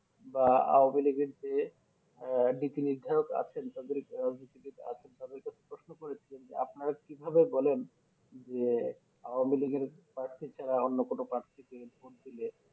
বা হুবলিতে এর যে নীতিনির্ধারক আছেন তাদের নীতিনির্ধারক আছেন তাদেরকে প্রশ্ন করেছিলেন যে আপনারা কিভাবে বলেন যে হুবলিতে এর প্রার্থী ছাড়া অন্য কোনো পার্থীকে ভোট দিলে